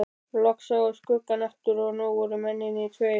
Loks sá ég skuggann aftur og nú voru mennirnir tveir.